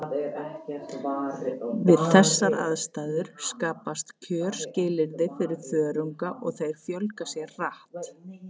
Við þessar aðstæður skapast kjörskilyrði fyrir þörunga og þeir fjölga sér hratt.